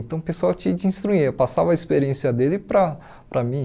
Então o pessoal te te instruía, passava a experiência dele para para mim.